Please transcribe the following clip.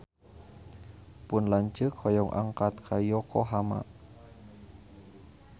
Pun lanceuk hoyong angkat ka Yokohama